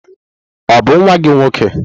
Ọ bụ nwa gị nwoke?